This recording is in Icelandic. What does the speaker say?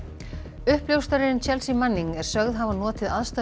uppljóstrarinn Chelsea Manning er sögð hafa notið aðstoðar